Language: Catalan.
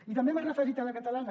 i també m’he referit a la catalana